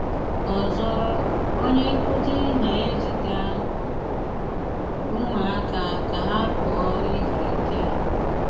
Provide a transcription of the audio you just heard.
Ọzọ, onye nkúzí ná-ézígá úmụáka ká ha pụọ ízú íké.